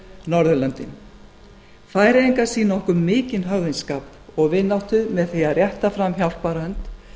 norðurlöndin færeyingar sýna okkur mikinn höfðingsskap og vináttu með því að rétta fram hjálparhönd